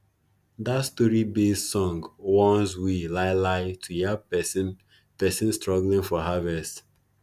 dat storybased song warns we lai lai to yab pesin pesin struggling for harvest